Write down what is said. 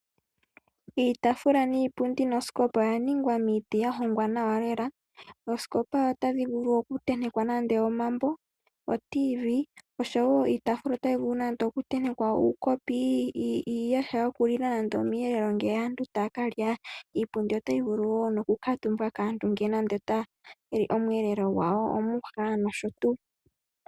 Iitafula, iipundi nosikopa oya ningwa miiti ya hongwa nawa lela. Oosikopa otadhi vulu okutentekwa nande omambo, oradio yomuzizimbe osho wo iitafula otayi vulu okutentekwa nande uukopi, uuyaha wokulila nande omweelelo ngele aantu taya ka lya. Iipundi otayi vulu okukuutumbwa kaantu ngele taya li nande omweelelo gwayo, omwiha nosho tuu.